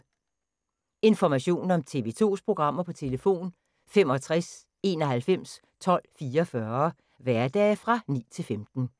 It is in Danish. Information om TV 2's programmer: 65 91 12 44, hverdage 9-15.